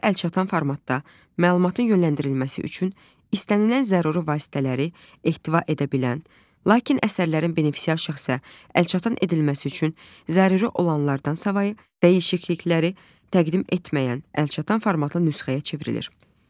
Əsər əlçatan formatda məlumatın yönləndirilməsi üçün istənilən zəruri vasitələri ehtiva edə bilən, lakin əsərlərin benefisial şəxsə əlçatan edilməsi üçün zəruri olanlardan savayı dəyişiklikləri təqdim etməyən əlçatan formatlı nüsxəyə çevrilir.